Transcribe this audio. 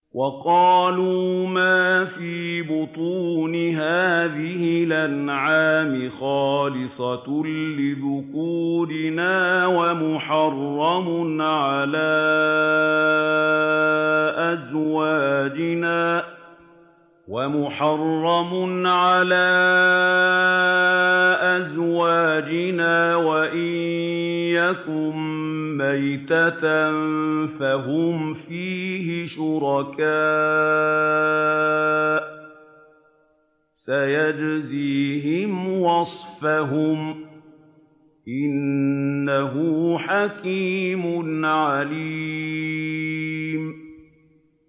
وَقَالُوا مَا فِي بُطُونِ هَٰذِهِ الْأَنْعَامِ خَالِصَةٌ لِّذُكُورِنَا وَمُحَرَّمٌ عَلَىٰ أَزْوَاجِنَا ۖ وَإِن يَكُن مَّيْتَةً فَهُمْ فِيهِ شُرَكَاءُ ۚ سَيَجْزِيهِمْ وَصْفَهُمْ ۚ إِنَّهُ حَكِيمٌ عَلِيمٌ